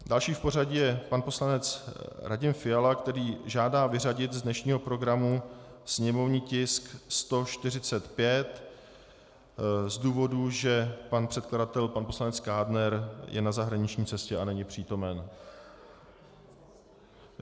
Další v pořadí je pan poslanec Radim Fiala, který žádá vyřadit z dnešního programu sněmovní tisk 145 z důvodu, že pan předkladatel pan poslanec Kádner je na zahraniční cestě a není přítomen.